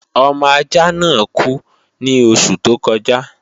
Ọmọ ajạ́ náà kú ní oṣù tó kọjạ́